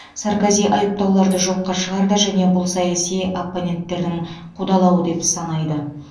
саркози айыптауларды жоққа шығарды және бұл саяси оппоненттердің қудалауы деп санайды